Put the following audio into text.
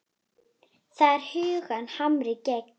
Það er huggun harmi gegn.